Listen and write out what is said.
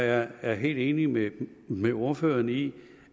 jeg er helt enig med med ordføreren i